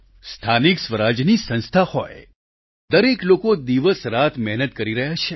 સ્થાનિક સ્વરાજ્યની સંસ્થા હોય દરેક લોકો દિવસરાત મહેનત કરી રહ્યા છે